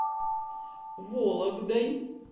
вологдой